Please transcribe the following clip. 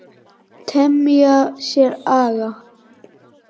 Temja sér aga.